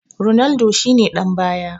Ronaldo shi ne ɗan baya